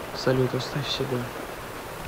салют оставь себе